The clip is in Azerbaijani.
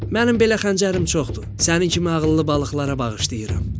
Mənim belə xəncərim çoxdur, sənin kimi ağıllı balıqlara bağışlayıram.